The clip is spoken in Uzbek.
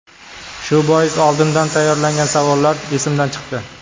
Shu bois oldindan tayyorlangan savollar esimdan chiqdi.